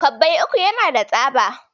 Kwabbai uku yana da tsaba.